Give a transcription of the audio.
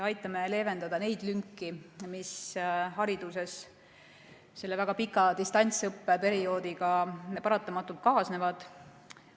Aitame leevendada neid lünki, mis hariduses selle väga pika distantsõppeperioodiga paratamatult kaasnevad.